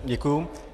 Děkuji.